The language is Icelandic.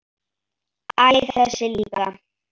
Æ, þessi líka